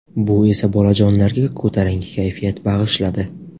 Bu esa bolajonlarga ko‘tarinki kayfiyat bag‘ishladi!